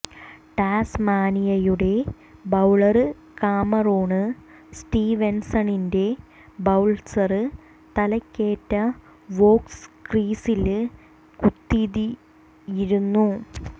ടാസ്മാനിയയുടെ bowler Cameron സ്റ്റീവെന്സണിന്റെ bouncer തലക്കേറ്റ Voges ക്രീസില് കുതിതിയിരുന്നു